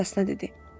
Meybl atasına dedi.